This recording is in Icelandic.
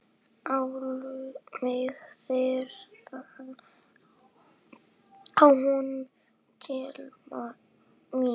Láttu mig þreifa á honum, telpa mín.